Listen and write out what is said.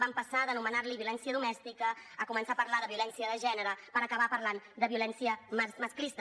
vam passar d’anomenar li violència domèstica a començar a parlar de violència de gènere per acabar parlant de violència masclista